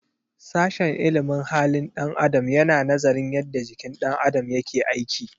Sashen ilimin halin ɗan adam yana nazarin yadda jikin ɗan adam yake aiki.